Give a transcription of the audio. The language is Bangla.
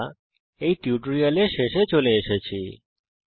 আমরা এই টিউটোরিয়ালের শেষে চলে এসেছি